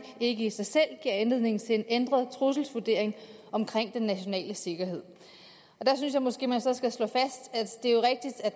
ikke i sig selv giver anledning til en ændret trusselsvurdering omkring den nationale sikkerhed der synes jeg måske man så skal slå